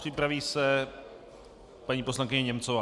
Připraví se paní poslankyně Němcová.